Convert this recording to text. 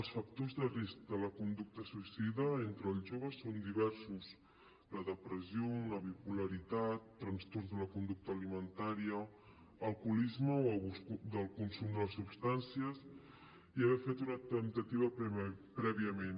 els factors de risc de la conducta suïcida entre els joves són diversos la depressió una bipolaritat trastorns de la conducta alimentària alcoholisme o abús del consum de substàncies i haver ne fet una temptativa prèviament